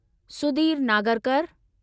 Sudeep Nagarkar